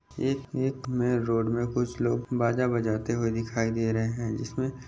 एक एक main road में कुछ लोग बाजा बजाते हुए दिखाई दे रहे है इसमें --